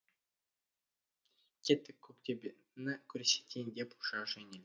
кеттік көктөбені көрсетейін деп ұша жөнелді